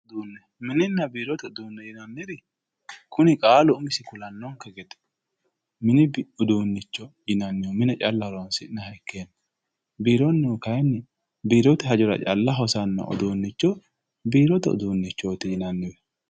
mininna biirote uduunne yinanniri kuni qaalu umisi kulannonke gede mini uduunnicho yinannihu mine calla horonsi'nanniha ikkanna biironnihu kayiinni biirote hajora calla hosannoha biirote uduunnichootiwe yinanni.